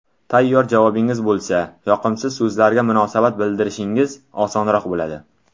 Tayyor javobingiz bo‘lsa, yoqimsiz so‘zlarga munosabat bildirishingiz osonroq bo‘ladi.